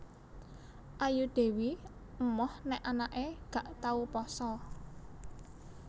Ayu Dewi emoh nek anake gak tau poso